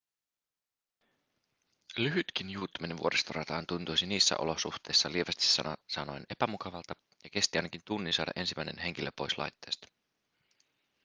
lyhytkin juuttuminen vuoristorataan tuntuisi niissä olosuhteissa lievästi sanoen epämukavalta ja kesti ainakin tunnin saada ensimmäinen henkilö pois laitteesta